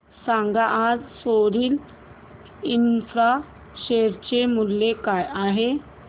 सांगा आज Sorril infra share चे मूल्य काय आहे